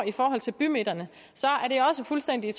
i forhold til bymidterne er det også fuldstændig i